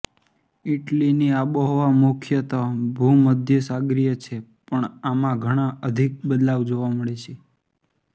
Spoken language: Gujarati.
ઇટલીની આબોહવા મુખ્યતઃ ભૂમધ્યસાગરીય છે પણ આમાં ઘણાં અધિક બદલાવ જોવા મળે છે